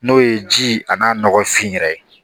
N'o ye ji a n'a nɔgɔfin yɛrɛ ye